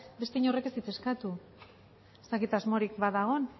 beste inork ez du eskatu ez dakit asmorik ba dago orduan